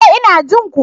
E! Ina jin ku.